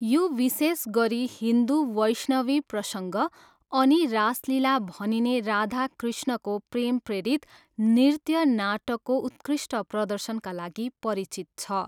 यो विशेष गरी हिन्दु वैष्णवी प्रसङ्ग अनि रासलिला भनिने राधा कृष्णको प्रेम प्रेरित नृत्य नाटकको उत्कृष्ट प्रदर्शनका लागि परिचित छ।